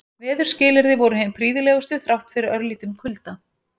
Veðurskilyrði voru hin prýðilegustu þrátt fyrir örlítinn kulda.